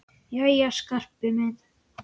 Jæja, Skarpi minn.